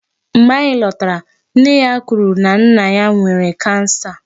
Mgbe anyị lọtara, nne ya kwuru na nna ya nwere 'cancer'.